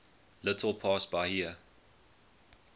little past bahia